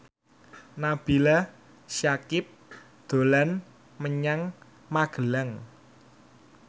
Nabila Syakieb dolan menyang Magelang